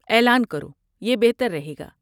اعلان کرو، یہ بہتر رہے گا۔